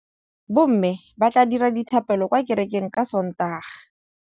Bommê ba tla dira dithapêlô kwa kerekeng ka Sontaga.